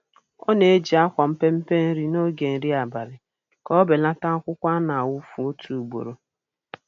Ọ na-eji akwa mpempe nri n'oge nri abali ka ọ belata akwukwọ a na-awụfu otu ugboro